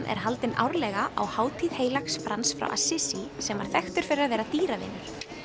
er haldin árlega á hátíð heilags Frans frá sem var þekktur fyrir að vera dýravinur